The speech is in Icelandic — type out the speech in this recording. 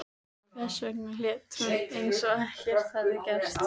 Hvers vegna lét hún eins og ekkert hefði gerst?